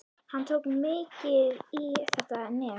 Hann tók mikið í þetta nef.